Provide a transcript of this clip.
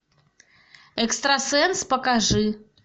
экстрасенс покажи